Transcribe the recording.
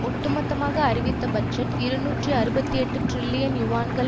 ஒட்டுமொத்தமாக அறிவித்த பட்ஜெட் இருநூற்றி அறுபத்தி எட்டு டிரில்லியன் யுவான்கள்